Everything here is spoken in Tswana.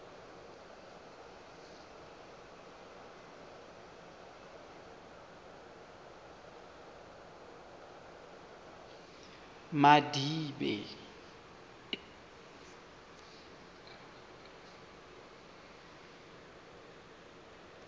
madibe